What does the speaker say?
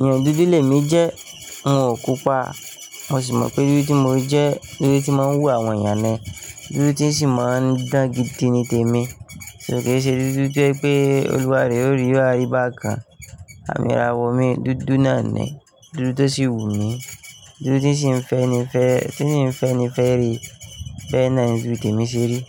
èèyàn dúdú le mi jẹ́, n òun ò pupa, mo sì mọ̀ pé dúdú tí mo jẹ́, dúdú tí mọ n wù àwọn èèyàn ni, dúdú tí n sì ma n dán gidi ni tèmi, ṣo ke ṣe dúdú tó jẹ́ pé olúwarẹ̀ o rí yo wa riba kan, àmì ìràwọ̀ mi dúdú náà ni, dúdú tó sì wù mí, dúdú tí n sì n fẹ́ ni fẹ́, tí n sì n fẹ́ ni fẹ́ rẹ, bẹ́ẹ̀ ná ni dúdú tẹ mi ṣe rí.